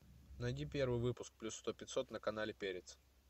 найди первый выпуск плюс сто пятьсот на канале перец